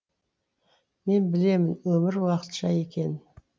мен білемін өмір уақытша екенін